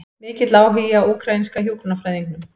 Mikill áhugi á úkraínska hjúkrunarfræðingnum